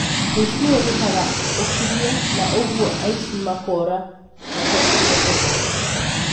Wĩici nĩwĩkĩkaga ũkirĩe na ũguo aici makoora matekũmenyeka.